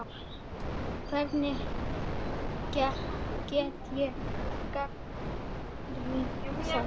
Hvernig get ég gagnrýnt þá?